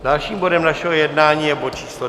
Dalším bodem našeho jednání je bod číslo